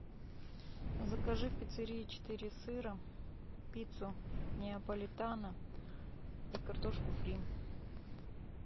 закажи в пиццерии четыре сыра пиццу неаполитано и картошку фри